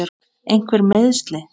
Einhver meiðsli?